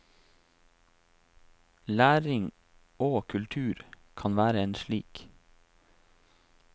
Læring og kultur, kan være en slik.